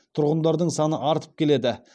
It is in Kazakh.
тұрғындардың саны артып келеді